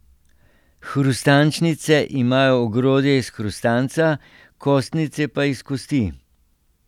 Hrustančnice imajo ogrodje iz hrustanca, kostnice pa iz kosti.